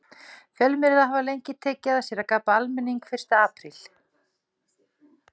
Fjölmiðlar hafa lengi tekið að sér að gabba almenning fyrsta apríl.